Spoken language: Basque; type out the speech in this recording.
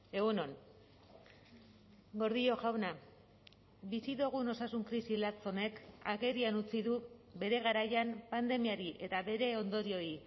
egun on gordillo jauna bizi dugun osasun krisi latz honek agerian utzi du bere garaian pandemiari eta bere ondorioei